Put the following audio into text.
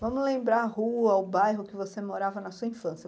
Vamos lembrar a rua, o bairro que você morava na sua infância.